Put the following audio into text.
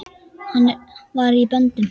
Hann var í böndum.